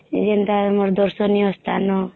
ଏଇ ଯେନ୍ତା ଆମର ଦର୍ଶନୀୟ ସ୍ଥାନ